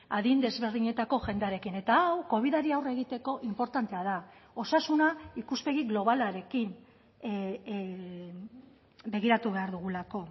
adin desberdinetako jendearekin eta hau covidari aurre egiteko inportantea da osasuna ikuspegi globalarekin begiratu behar dugulako